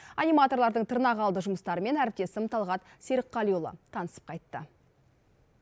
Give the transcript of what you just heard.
аниматорлардың тырнақалды жұмыстарымен әріптесім талғат серікқалиұлы танысып қайтты